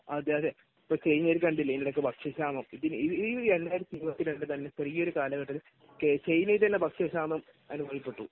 അതെയതെ. ഇപ്പൊ ശ്രീലങ്കയിലൊക്കെ കണ്ടില്ലേ ഇത്രയേറെ ഭക്ഷ്യക്ഷാമം? ഈ 2022 -ൽ തന്നെ ചെറിയൊരു കാലഘട്ടത്തിൽ ചൈനയിൽത്തന്നെ ഭക്ഷ്യക്ഷാമം അനുഭവപ്പെട്ടു.